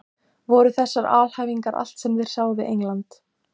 Voru þessar alhæfingar allt sem þeir sáu við England?